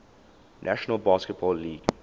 national basketball league